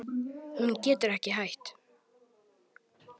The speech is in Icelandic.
Hún getur ekki hætt.